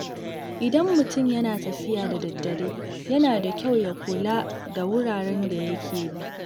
Idan mutum yana tafiya da daddare, yana da kyau ya kula da wuraren da yake bi.